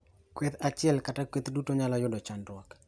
Kweth achiel kata kweth duto nyalo yudo chandruok.